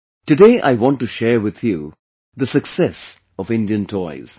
Today I want to share with you the success of Indian Toys